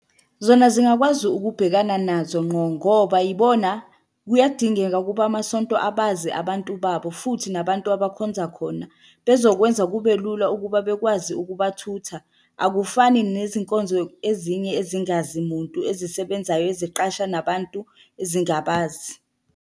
Zona zingakwazi ukubhekana nazo ngqo ngoba yibona kuyadingeka ukuba amasonto abazi abantu babo, futhi nabantu abakhonza khona bezokwenza kube lula ukuba bekwazi ukuba thutha. Akufani nezinkonzo ezinye ezingazi muntu, ezisebenzayo, eziqasha nabantu ezingabazi.